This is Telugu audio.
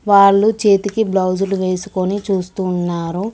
వాళ్లు చేతికి బ్లౌజులు వేసుకొని చూస్తున్నారు.